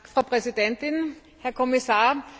Frau Präsidentin, Herr Kommissar!